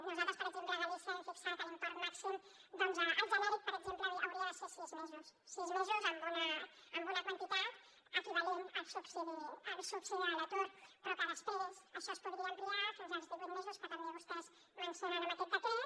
nosaltres per exemple a galícia vam fixar que l’import màxim el genèric per exemple hauria de ser de sis mesos amb una quantitat equivalent al subsidi de l’atur però que després això es podria ampliar fins als divuit mesos que també vostès mencionen en aquest decret